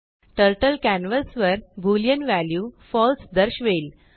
टर्टलकॅनवासवरbooleanव्ह्याल्यूfalse दर्शवेल